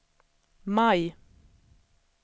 maj